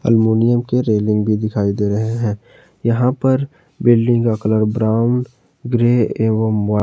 aluminium के railing भी दिखाई दे रहे हैं यहां पर बिल्डिंग का कलर ब्राउन ग्रे एवं वा--